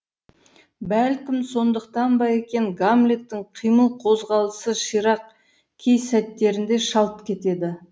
бәлкім сондықтан ба екен гамлеттің қимыл қозғалысы ширақ кей сәттерінде шалт кетеді